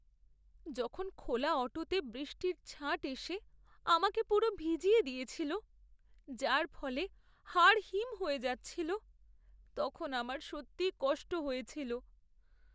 যখন খোলা অটোতে বৃষ্টির ছাঁট এসে আমাকে পুরো ভিজিয়ে দিয়েছিল, যার ফলে হাড় হিম হয়ে যাচ্ছিল, তখন আমার সত্যিই কষ্ট হয়েছিল।